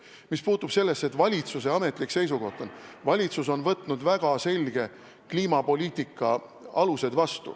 Mis puutub sellesse, et see on valitsuse ametlik seisukoht, siis valitsus on võtnud vastu väga selged kliimapoliitika alused.